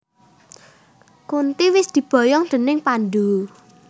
Kunti wis diboyong déning Pandhu